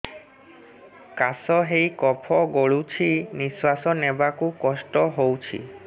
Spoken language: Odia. କାଶ ହେଇ କଫ ଗଳୁଛି ନିଶ୍ୱାସ ନେବାକୁ କଷ୍ଟ ହଉଛି